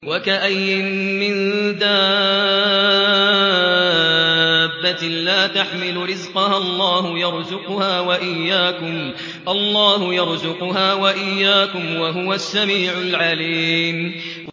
وَكَأَيِّن مِّن دَابَّةٍ لَّا تَحْمِلُ رِزْقَهَا اللَّهُ يَرْزُقُهَا وَإِيَّاكُمْ ۚ وَهُوَ السَّمِيعُ الْعَلِيمُ